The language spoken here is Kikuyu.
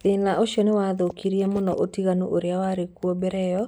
Thĩna ũcio nĩ wathũkirie mũno ũtiganu ũrĩa warĩ kuo mbere ĩyo